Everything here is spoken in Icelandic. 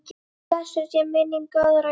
Blessuð sé minning góðra hjóna.